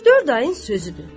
Üç-dörd ayın sözüdür.